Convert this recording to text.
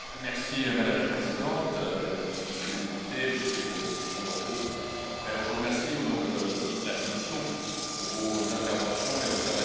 Madame la Présidente, Mesdames et Messieurs les députés, Monsieur le Président de l'Eurogroupe, je vous remercie au nom de la Commission pour vos interventions et observations.